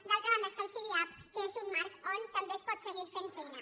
d’altra banda està el sidiap que és un marc on també es pot seguir fent feina